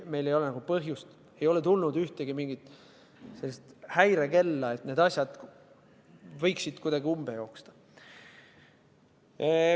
Meil ei ole põhjust arvata, ei ole tulnud ühtegi häirekella, et need asjad võiksid kuidagi umbe joosta.